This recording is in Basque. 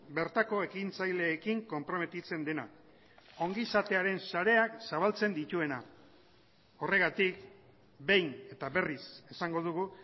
bertako ekintzaileekin konprometitzen dena ongizatearen sareak zabaltzen dituena horregatik behin eta berriz esango dugu